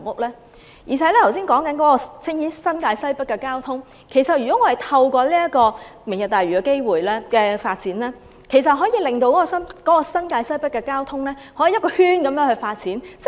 剛才談到新界西北的交通，透過"明日大嶼"的發展，其實可以令新界西北的交通有全面發展。